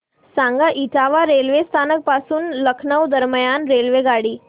सांगा इटावा रेल्वे स्थानक पासून लखनौ दरम्यान रेल्वेगाडी